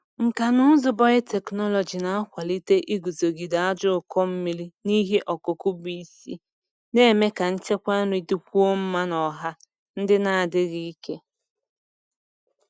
Nkà na ụzụ biotechnology na-akwalite iguzogide ajọ ụkọ mmiri n’ihe ọkụkụ bụ isi, na-eme ka nchekwa nri dịkwuo mma n’ọha ndị na-adịghị ike.